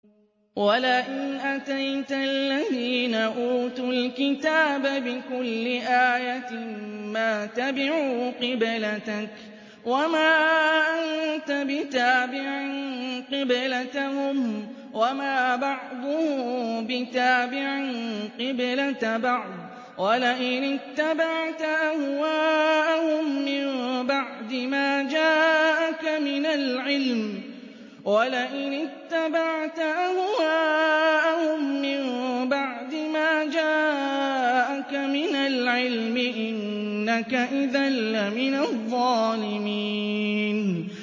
وَلَئِنْ أَتَيْتَ الَّذِينَ أُوتُوا الْكِتَابَ بِكُلِّ آيَةٍ مَّا تَبِعُوا قِبْلَتَكَ ۚ وَمَا أَنتَ بِتَابِعٍ قِبْلَتَهُمْ ۚ وَمَا بَعْضُهُم بِتَابِعٍ قِبْلَةَ بَعْضٍ ۚ وَلَئِنِ اتَّبَعْتَ أَهْوَاءَهُم مِّن بَعْدِ مَا جَاءَكَ مِنَ الْعِلْمِ ۙ إِنَّكَ إِذًا لَّمِنَ الظَّالِمِينَ